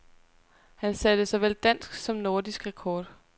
Han satte såvel dansk som nordisk rekord.